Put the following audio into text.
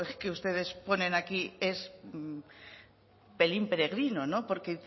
que ustedes ponen aquí es pelín peregrino porque